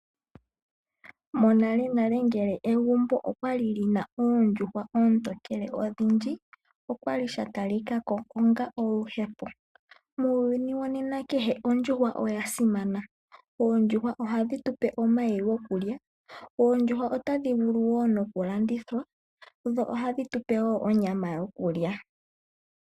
Monalenale ngele egumbo okwali li na oondjuhwa oontokele odhindji, okwali sha talikako onga oluhepo. Muuyuni wo nena kehe ondjuhwa oya simana. Oondjuhwa ohadhi tu pe omayi gokulya. Oondjuhwa otadhi vulu wo nokulandithwa, dho ohadhi tu pe wo onyama yokulya.